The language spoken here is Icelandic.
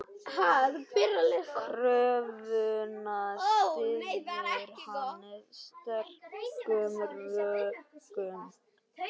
Kröfuna styður hann sterkum rökum.